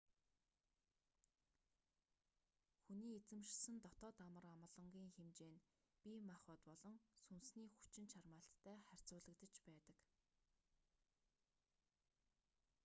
хүний эзэмшсэн дотоод амар амгалангийн хэмжээ нь бие махбод болон сүнсний хүчин чармайлттай харьцуулагдаж байдаг